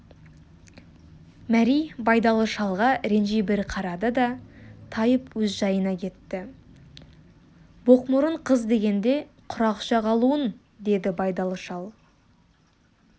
мәри байдалы шалға ренжи бір қарады да тайып өз жайына кетті боқмұрын қыз дегенде құрақ ұша қалуын деді байдалы шал